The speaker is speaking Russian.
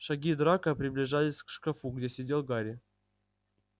шаги драко приближались к шкафу где сидел гарри